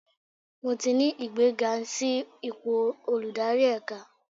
Mo ti ní ìgbéga sí ipò olùdarí ẹ̀ka.